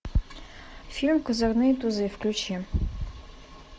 фильм козырные тузы включи